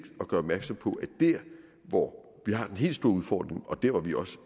at gøre opmærksom på at der hvor vi har den helt store udfordring og der hvor vi også